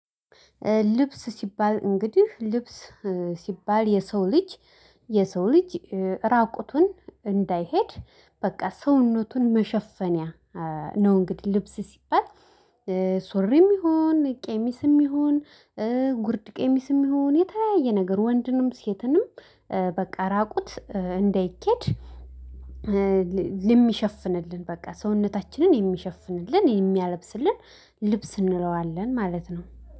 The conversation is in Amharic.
ልብስ ሲባል እንግዲህ ልብስ ሲባል የሰው ልጅ የሰው ልጅ ራቁቱን እንዳይሄድ በቃ ሰውነቱን መሸፈኛ ነው። እንግዲህ ልብስ ሲባል። ሱሪም ይሁን ቀሚስም ይሁን ጉርድ ቀሚስም ይሁን የተለያየ ነገር ወንድንም ሴትንም። በቃ ራቁት እንደይኬድ። የሚሸፍንልን በቃ ሰውነታችንን የሚሸፍንልን የሚያለብስልን ልብስ እንለዋለን ማለት ነው